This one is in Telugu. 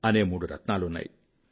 అని మూడు రత్నాలున్నాయి